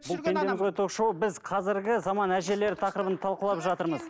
бұл пендеміз ғой ток шоуы біз қазіргі заман әжелер тақырыбын талқылап жатырмыз